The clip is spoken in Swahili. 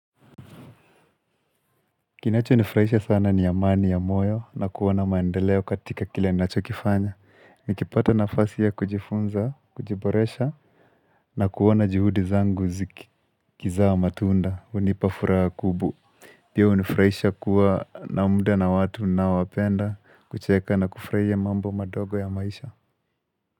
Kinacho nifurahisha sana ni amani ya moyo na kuona maendeleo katika kila ninacho kifanya. Nikipata nafasi ya kujifunza, kujiboresha na kuona juhudi zangu zikizaa matunda, hunipafuraha ya kubwa. Pia hunifurahisha kuwa na mda na watu ninaowapenda, kucheka na kufurahia mambo madogo ya maisha.